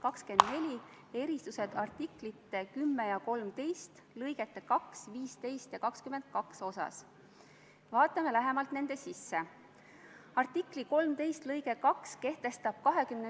Nagu ka eilsel kohtumisel Kaitseväe peastaabis teie hea koalitsioonipartner härra Lotman teile tõestas, siis maailm ei ole mustvalge, vaid ka olukord Malis on palju keerulisem ja kirjum.